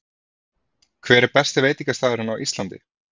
Hver er besti veitingastaðurinn á Íslandi?